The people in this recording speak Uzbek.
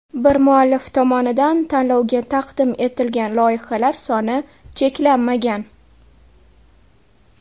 Bir muallif tomonidan tanlovga taqdim etilgan loyihalar soni cheklanmagan.